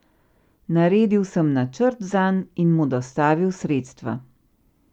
Naredil sem načrt zanj in mu dostavil sredstva.